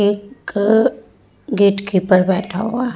एक gatekeeper बैठा हुआ है |